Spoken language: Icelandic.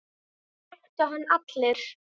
Það þekktu hann allir.